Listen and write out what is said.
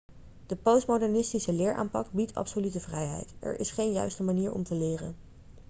de postmodernistische leeraanpak biedt absolute vrijheid er is geen juiste manier om te leren